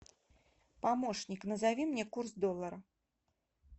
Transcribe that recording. помощник назови мне курс доллара